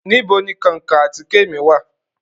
Nibó ni kankan àtike mi wa?